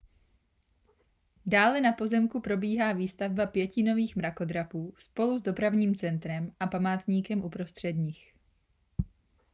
dále na pozemku probíhá výstavba pěti nových mrakodrapů spolu s dopravním centrem a památníkem uprostřed nich